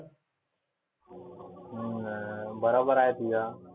हम्म बराबर आहे तुझा.